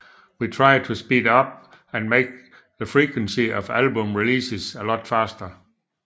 We try to speed it up and make the frequency of album releases a lot faster